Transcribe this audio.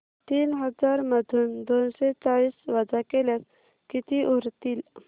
तीन हजार मधून दोनशे चाळीस वजा केल्यास किती उरतील